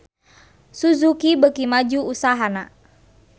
Suzuki beuki maju usahana